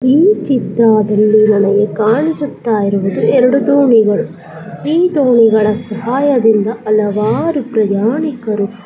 ಈ ಚಿತ್ರಾದಲ್ಲಿ ನನಗೆ ಕಾಣಿಸುತ್ತಾ ಇರುವುದು ಎರೆಡು ದೋಣಿಗಳುಈ ದೋಣಿಗಳ ಸಹಾಯದಿಂದ ಹಲವಾರು ಪ್ರಯಾಣಿಕರು